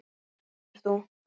Kennir þú?